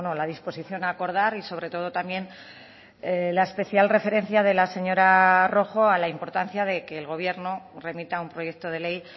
la disposición a acordar y sobre todo también la especial referencia de la señora rojo a la importancia de que el gobierno remita un proyecto de ley